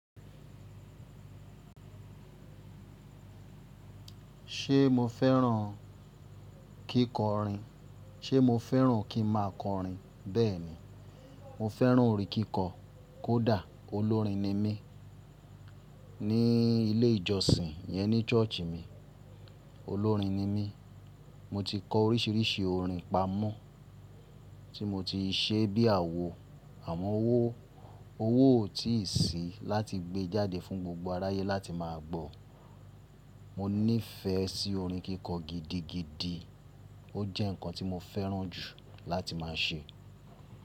Ṣé mo fẹ́ràn kíkọrin? Ṣé mo fẹ́ràn kí ma kọrin? Bẹ́ẹ̀ni. Mo fẹ́ràn orin kíkọ. Kódà olórin ni mí. Ní ilé ìjọsìn ìyẹn ní ṣọ́ọ̀ṣì mi, olórin ni mí. Mo ti kọ oríṣiríṣi orin pamọ́ tí mo ti ṣe bí àwo. Àmọ́ owó, owó ò tíì sí láti gbe jáde fún gbogbo aráyé láti má a gbọ́. Mo nífẹsí orin kíkọ gidigidi, ó jẹ́ nǹkan tí mo fẹ́ràn jù láti má a ṣe.